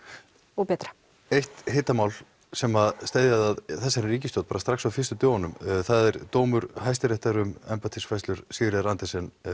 og betra eitt hitamál sem steðjaði að þessari ríkisstjórn bara strax á fyrstu dögunum það er dómur hæsta réttar um embættisfærslur Sigríðar Andersen